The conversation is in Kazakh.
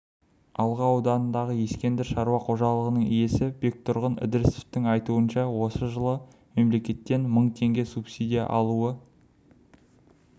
алға ауданындағы ескендір шаруа қожалығының иесі бектұрған ідірісовтің айтуынша ол жылы мемлекеттен мың теңге субсидия алуы